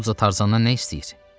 Tambuz Tarzandan nə istəyir?